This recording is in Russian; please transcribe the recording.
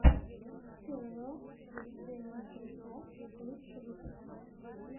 тэйо зе литтл бас лучший выпуск